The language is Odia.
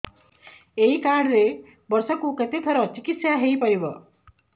ଏଇ କାର୍ଡ ରେ ବର୍ଷକୁ କେତେ ଥର ଚିକିତ୍ସା ହେଇପାରିବ